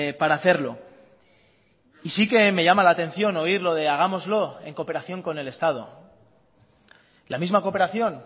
para hacerlo y sí que me llama la atención oír lo de hagámoslo en cooperación con el estado la misma cooperación